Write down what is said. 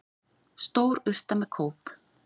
Stór urta með kóp.